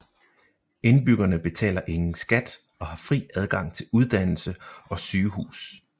Indbyggerne betaler ingen skat og har fri adgang til uddannelse og sygehus